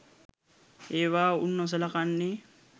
ඒවා උන් නොසලකන්නේ